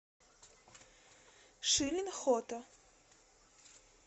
шилин хото